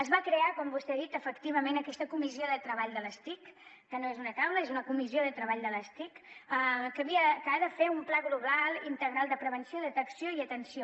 es va crear com vostè ha dit efectivament aquesta comissió de treball de les tic que no és una taula és una comissió de treball de les tic que ha de fer un pla global integral de prevenció detecció i atenció